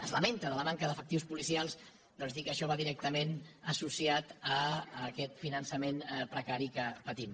es lamenta de la manca d’efectius policials doncs dir que això va directament associat a aquest finançament precari que patim